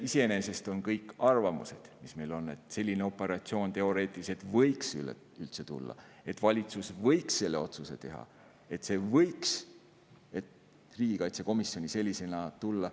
Ei no iseenesest on need kõik arvamused, mis meil on: et selline operatsioon võiks üldse tulla – teoreetiliselt –, et valitsus võiks selle otsuse teha, et see võiks riigikaitsekomisjoni sellisena arutelu alla tulla.